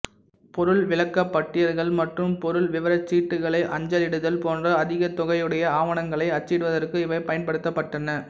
பொருள் விளக்கப்பட்டியல்கள் மற்றும் பொருள் விவரச்சீட்டுகளை அஞ்சலிடுதல் போன்ற அதிகதொகையுடைய ஆவணங்களை அச்சிடுவதற்கு இவைப் பயன்படுத்தப்பட்டன